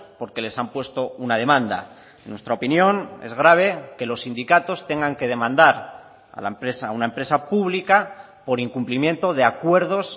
porque les han puesto una demanda en nuestra opinión es grave que los sindicatos tengan que demandar a la empresa a una empresa pública por incumplimiento de acuerdos